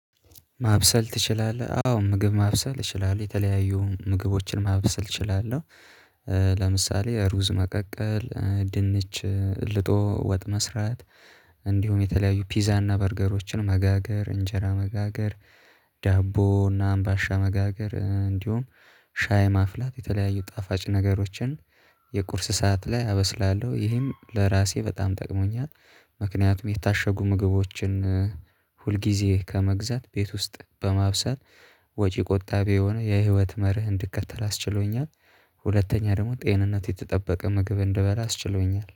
ማብሰል ትችላለህ አዎ ምግብ ማብሰል እችላለሁ የተለያዩ ምግቦችን ማብሰል እችላለሁ። ለምሳሌ ሩዝ መቀቀል ድንች ልጦ ወጥ መስራት እንዲሁም የተለያዩ ፒዛና በርገሮችን መጋገር እንጀራ መጋገር ዳቦ እና አምባሻ መጋገር እንዲሁም ሻይ ማፍላት የተለያዩ ጣፋጭ ነገሮችን የቁርስ ሰዓት ላይ አበስላለሁ ይሄም ለራሴ በጣም ጠቅሞኛል። ምክንያቱም የታሸጉ ምግቦችን ሁልጊዜ ከመግዛት ቤት ውስጥ በማብሰል ወጪ ቆጣቢ የሆነ የህይወት መርህ እንድከተል አስችሎኛል። ሁለተኛ ደግሞ ጤንነት የተጠበቀ ምግብ እንድበላ አስችሎኛል